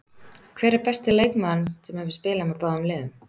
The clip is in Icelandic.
Hver er besti leikmaðurinn sem hefur spilað með báðum liðum?